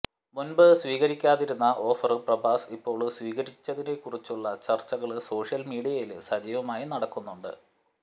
മുന്പ് സ്വീകരിക്കാതിരുന്ന ഓഫര് പ്രഭാസ് ഇപ്പോള് സ്വീകരിച്ചതിനെക്കുറിച്ചുള്ള ചര്ച്ചകള് സോഷ്യല് മീഡിയയില് സജീവമായി നടക്കുന്നുണ്ട്